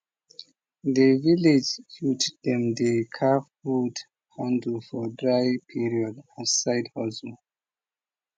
de village youth dem dey carve wood handle for dry period as side hustle